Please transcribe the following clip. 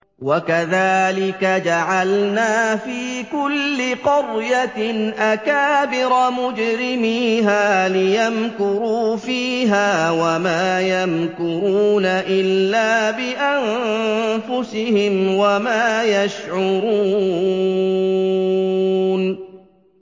وَكَذَٰلِكَ جَعَلْنَا فِي كُلِّ قَرْيَةٍ أَكَابِرَ مُجْرِمِيهَا لِيَمْكُرُوا فِيهَا ۖ وَمَا يَمْكُرُونَ إِلَّا بِأَنفُسِهِمْ وَمَا يَشْعُرُونَ